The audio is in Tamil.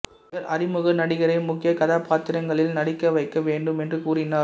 இவர் அறிமுக நடிகரை முக்கிய கதாபாத்திரங்களில் நடிக்க வைக்க வேண்டும் என்று கூறினார்